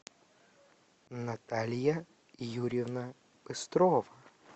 наталья юрьевна быстрова